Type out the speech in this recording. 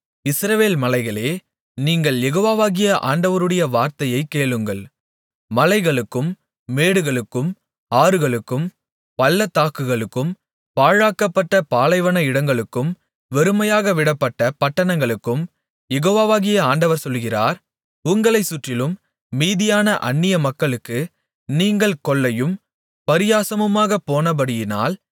இஸ்ரவேல் மலைகளே நீங்கள் யெகோவாகிய ஆண்டவருடைய வார்த்தையைக் கேளுங்கள் மலைகளுக்கும் மேடுகளுக்கும் ஆறுகளுக்கும் பள்ளத்தாக்குகளுக்கும் பாழாக்கப்பட்ட பாலைவன இடங்களுக்கும் வெறுமையாக விடப்பட்ட பட்டணங்களுக்கும் யெகோவாகிய ஆண்டவர் சொல்லுகிறார் உங்களைச் சுற்றிலும் மீதியான அந்நியமக்களுக்கு நீங்கள் கொள்ளையும் பரியாசமுமாகப்போனபடியினால்